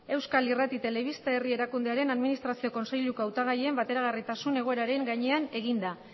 euskal irrati telebista herri erakundearen administrazio kontseiluko hautagaien bateragarritasun egoeraren gainean eginda